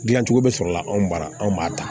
Dilancogo bɛ sɔrɔ la anw bara anw b'a ta